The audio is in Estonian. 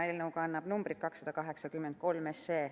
Eelnõu kannab numbrit 283.